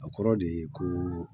A kɔrɔ de ye ko